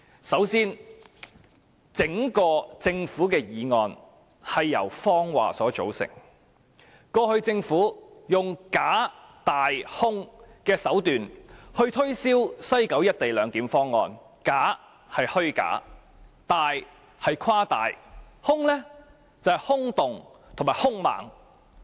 首先，整項政府議案也是由謊話組成，政府過去以"假、大、空"的手段推銷西九"一地兩檢"方案，假是虛假，大是誇大，空是空洞及"兇"猛。